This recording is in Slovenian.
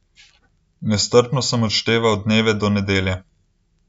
Nestrpno sem odšteval dneve do nedelje.